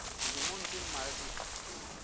dilemong tse mmalwa tse fetileng